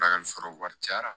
Bakari foro wɛrɛ cayara